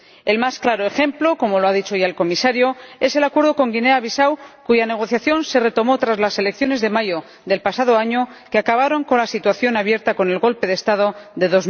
El más claro ejemplo —como lo ha dicho ya el Comisario— es el Acuerdo con Guinea Bisáu, cuya negociación se retomó tras las elecciones de mayo del pasado año, que acabaron con la situación abierta con el golpe de Estado de